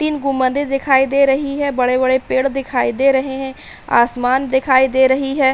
तीन गुंबदें दिखाई दे रही हैं। बड़े-बड़े पेड़ दिखाई दे रहे हैं। आसमान दिखाई दे रही है।